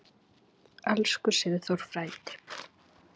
Elsku Sigþór frændi.